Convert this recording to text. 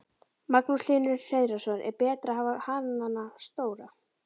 Magnús Hlynur Hreiðarsson: Er betra að hafa hanana stóra?